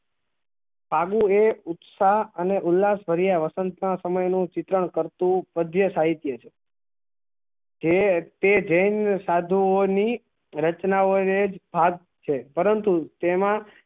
આનું એક ઉત્સાહ અને ઉલ્લાસ ભર્યા વસંત માં સમય નું ચિત્રણ કરતું પધ્ય સાહિત્ય છે જે તે જેન સાધુ ઓં ની રચનાઓ એ હાથ છે પરંતુ તેમાં